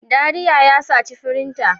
Dariya ya saci firinta.